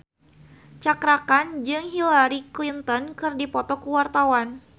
Cakra Khan jeung Hillary Clinton keur dipoto ku wartawan